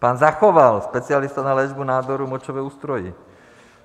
Pan Zachoval, specialista na léčbu nádorů močového ústrojí.